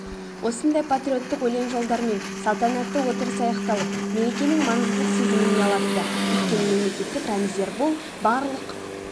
осындай патриоттық өлен жолдармен салтанатты отырыс аяқталып мерекенің маңыздылық сезімін ұялатты өйткені мемлекеттік рәміздер бұл барлық